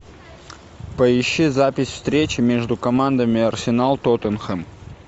поищи запись встречи между командами арсенал тоттенхэм